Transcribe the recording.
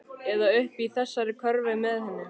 Eða uppi í þessari körfu með henni.